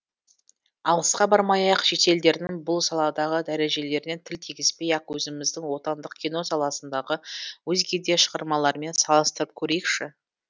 алысқа бармай ақ шетелдердің бұл саладағы дарежелеріне тіл тигізбей ақ өзіміздің отандық кино саласындағы өзге де шығармалармен салыстырып көрейікші